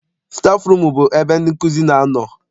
Stafụrum bụ ebe ndị nkụzi na-anọ.